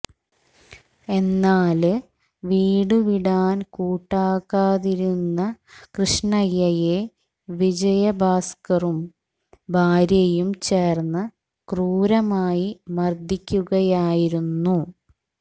എന്നാല് വീടുവിടാൻ കൂട്ടാക്കാതിരുന്ന കൃഷ്ണയ്യയെ വിജയഭാസ്കറും ഭാര്യയും ചേര്ന്ന് ക്രൂരമായി മര്ദ്ദിക്കുകയായിരുന്നു